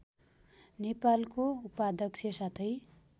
नेपालको उपाध्यक्ष साथै